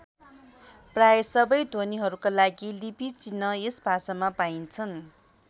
प्रायः सबै ध्वनिहरूका लागि लिपिचिह्न यस भाषामा पाइन्छन्।